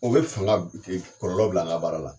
O be fanga kɔlɔlɔ bila anga baara la